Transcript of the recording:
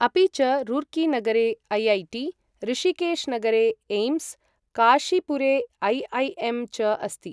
अपि च, रुर्कीनगरे ऐ.ऐ.टी., ऋषिकेशनगरे एम्स्, काशीपुरे ऐ.ऐ.एम्. च अस्ति।